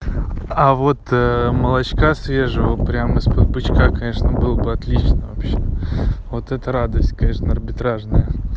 а вот молочка свежего прямо из-под бычка конечно было бы отлично вообще вот это радость конечно арбитражная